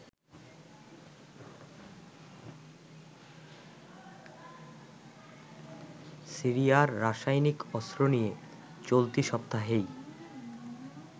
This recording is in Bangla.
সিরিয়ার রাসায়নিক অস্ত্র নিয়ে চলতি সপ্তাহেই